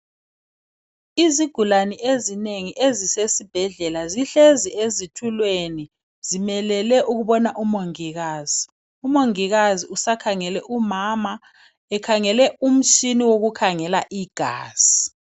Izigulane ezinengi ezisesibhedlela zihlezi ezitulweni zimelele ukubona umongikazi. Umongikazi usakhangele umama, ekhangele umtshina wokukhangela igazi.